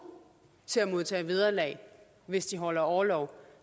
til at modtage vederlag hvis de holder orlov for